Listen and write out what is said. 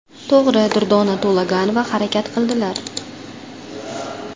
To‘g‘ri, Durdona To‘laganova harakat qildilar.